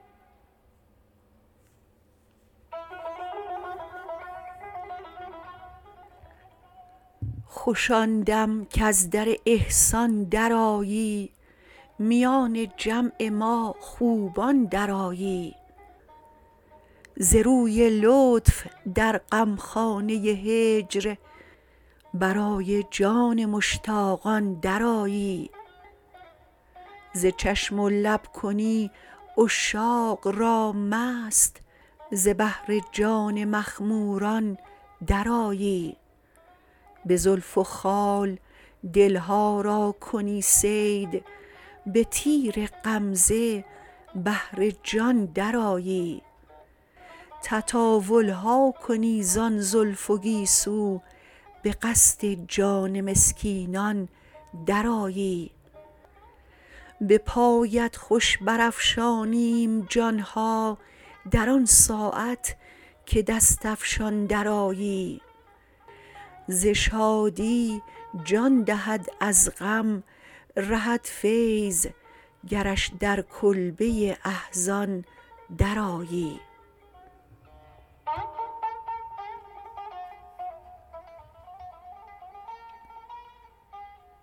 خوش آندم کز در احسان در آیی میان جمع ما خوبان در آیی ز روی لطف در غمخانه هجر برای جان مشتاقان در آیی ز چشم و لب کنی عشاقرا مست ز بهر جان مخموران در آیی بزلف و خال دلها را کنی صید بتیر غمزه بهر جان در آیی تطاولها کنی ز آن زلف و گیسو بقصد جان مسکینان در آیی بپایت خوش برافشانیم جانها در آنساعت که دست افشان در آیی ز شادی جان دهد از غم رهد فیض گرش در کلبه احزان در آیی